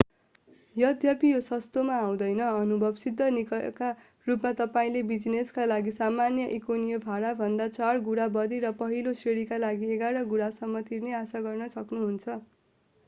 यद्यपि यो सस्तोमा आउँदैनः अनुभव सिद्ध नियमका रूपमा तपाईंले बिजिनेसका लागि सामान्य इकोनोमी भाडाभन्दा चार गुणा बढी र पहिलो श्रेणीका लागि एघार गुणासम्म तिर्ने आशा गर्न सक्नुहुन्छ